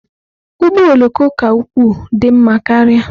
Ụgbọ oloko ka ukwuu dị mma karịa.